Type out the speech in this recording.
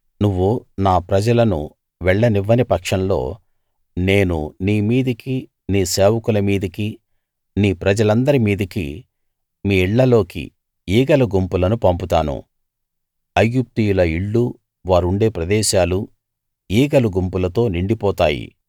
నువ్వు నా ప్రజలను వెళ్ళనివ్వని పక్షంలో నేను నీ మీదికీ నీ సేవకుల మీదికీ నీ ప్రజలందరి మీదికీ మీ ఇళ్ళలోకీ ఈగల గుంపులను పంపుతాను ఐగుప్తీయుల ఇళ్ళూ వారు ఉండే ప్రదేశాలూ ఈగల గుంపులతో నిండిపోతాయి